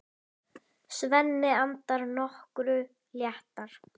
Svenni andað nokkru léttar.